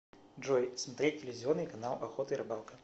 джой смотреть телевизионный канал охота и рыбалка